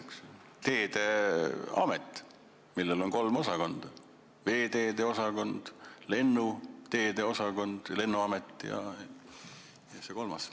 Tekiks teedeamet, millel oleks kolm osakonda: veeteede osakond, lennuteede osakond ja see kolmas.